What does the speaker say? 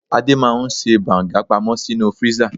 Adé máa ń ṣe banga pamó sínú freezer.